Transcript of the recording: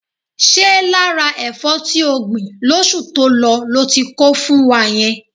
Ṣé lára ẹ̀fọ́ tí o gbìn lóṣù tó lọ lo ti kó fún wa yẹn?